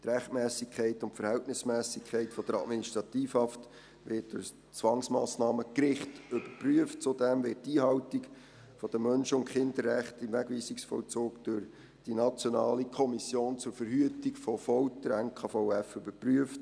Rechtsmässigkeit und Verhältnismässigkeit der Administrativhaft werden durch das Zwangsmassnahmengericht überprüft, zudem wird die Einhaltung der Menschen- und Kinderrechte im Wegweisungsvollzug durch die NKVF überprüft.